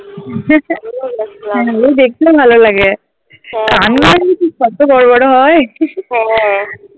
দেখতেও ভালো লাগে কান কত বড়ো বড়ো হয়